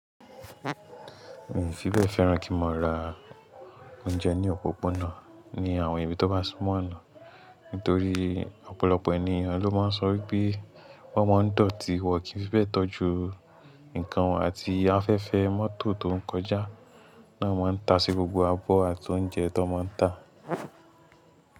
Mi n fi bẹ́ẹ̀ fẹ́ràn kí n mo ra oúnjẹ ní òpópónà ní àwọn ibi tó bá súnmọ́ ọ̀nà, nítorí ọ̀pọ̀lọpọ̀ ènìyàn ló máa ń sọ wípé wọ́n máa ń dọ̀tí, wọ́n kì í fẹ́ be tọ́jú nǹkan won àti afẹ́fẹ́ mọ́tò tó ń kọjá náà ma ń ta sí gbogbo abọ́ àti oúnjẹ tan máa ń tà.